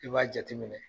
I b'a jateminɛ